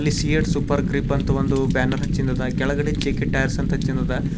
ಅಲ್ಲಿ CEAT super grip ಅಂತ ಒಂದು ಬ್ಯಾನರ್ ಹಚ್ಚಿಂದದ ಕೆಳಗಡೆ ಜೆ_ಕೆ ಟೈಯರ್ಸ್ ಅಂತ ಹಚ್ಚಿದದ.